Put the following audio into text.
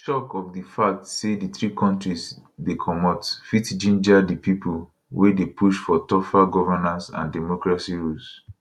di shock of di fact say di three kontris dey comot fit ginger di pipo wey dey push for tougher governance and democracy rules